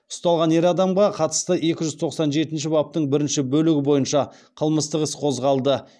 ұсталған ер адамға қатысты екі жүз тоқсан жетінші баптың бірінші бөлігі бойынша қылмыстық іс қозғалды